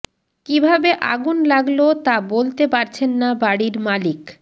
কিভাবে আগুন লাগলো তা বলতে পারছেন না বাড়ির মালিক